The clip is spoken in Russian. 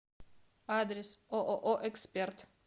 адрес ооо эксперт